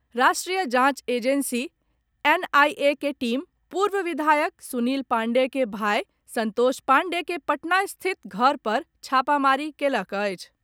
राष्ट्रीय जाँच agency NIA के टीम पूर्व विधायक सुनील पाण्डेय के भाय सन्तोष पाण्डेय के पटना स्थित घर पर छापामारी कयलक अछि।